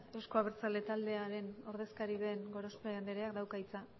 euzko abertzale taldearen ordezkari den gorospe andreak dauka hitza